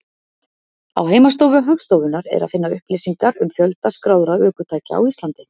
Á heimasíðu Hagstofunnar er að finna upplýsingar um fjölda skráðra ökutækja á Íslandi.